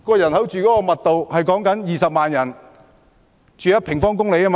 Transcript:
人口密度是20萬人住1平方公里。